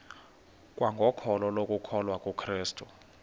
kwangokholo lokukholwa kukrestu